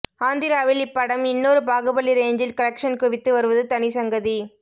ஆந்திராவில் இப்படம் இன்னொரு பாகுபலி ரேஞ்சில் கலெக்ஷன் குவித்து வருவது தனி சங்கதி